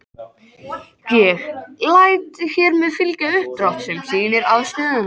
Ég læt hér með fylgja uppdrátt. sem sýnir afstöðuna.